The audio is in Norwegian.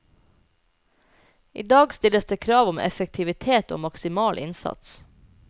I dag stilles det krav om effektivitet og maksimal innsats.